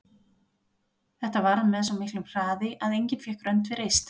Þetta varð með svo miklu hraði að enginn fékk rönd við reist.